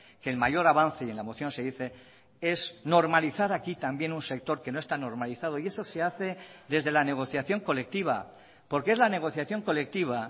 que el mayor avance y en la moción se dice es normalizar aquí también un sector que no está normalizado y eso se hace desde la negociación colectiva porque es la negociación colectiva